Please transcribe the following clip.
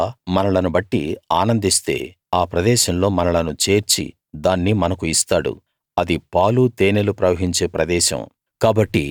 యెహోవా మనలను బట్టి ఆనందిస్తే ఆ ప్రదేశంలో మనలను చేర్చి దాన్ని మనకు ఇస్తాడు అది పాలు తేనెలు ప్రవహించే ప్రదేశం